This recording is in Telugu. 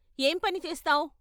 ఏం పని చేస్తావ్?